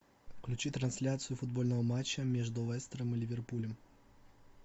включи трансляцию футбольного матча между лестером и ливерпулем